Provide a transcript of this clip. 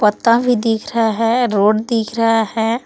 ता भी दिख रहा है रोड दिख रहा है।